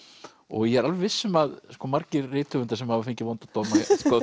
ég er alveg viss um að margir rithöfundar sem hafa fengið vonda dóma